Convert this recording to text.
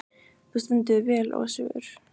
Þú stendur þig vel, Ósvífur!